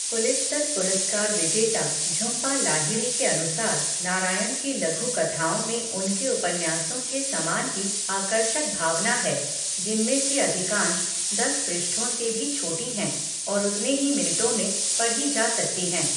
Pulitzer पुरस्कार विजेता झुम्पा लाहिड़ी के अनुसार, नारायण की लघु कथाओं में उनके उपन्यासों के समान ही आकर्षक भावना है, जिनमें से अधिकांश दस पृष्ठों से भी छोटी हैं और उतने ही मिनटों में पढ़ी जा सकती हैं।